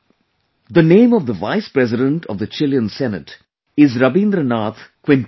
The name of the Vice President of the Chilean Senate is Rabindranath Quinteros